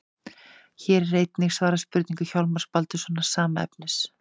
Hér er einnig svarað spurningu Hjálmars Baldurssonar, sama efnis.